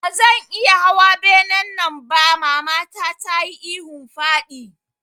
Bazan iya hawa benen nan ba mamata tayi ihun faɗi